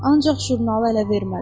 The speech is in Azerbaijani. Ancaq jurnalı ələ vermədi.